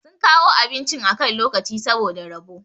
sun kawo abincin akan lokaci saboda rabo